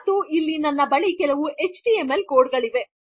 ಮತ್ತು ಇಲ್ಲಿ ನನ್ನ ಬಳಿ ಕೆಲವು ಎಚ್ಟಿಎಂಎಲ್ ಕೊಡ್ ಗಳಿವೆ